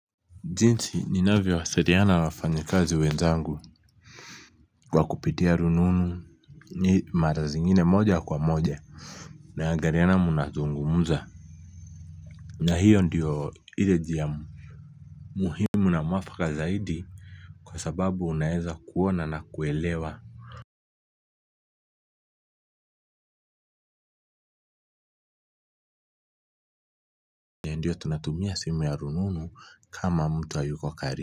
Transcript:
Jinsi ninavyo wasiliana wafanyikazi wenzangu. Kwa kupitia rununu ni mara zingine moja kwa moja. Mnaagariana mna tungumza. Na hiyo ndio ile jia muhimu na mwafaka zaidi kwa sababu unaeza kuona na kuelewa. Ndio tunatumia simu ya rununu kama mtu ayuko karibu.